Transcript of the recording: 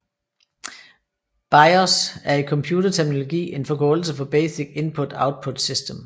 BIOS er i computerterminologi en forkortelse for Basic Input Output System